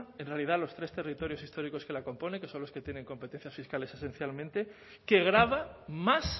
en realidad los tres territorios históricos que la componen que son los que tienen competencias fiscales esencialmente que graba más